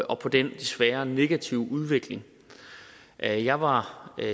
og på den desværre negative udvikling jeg jeg var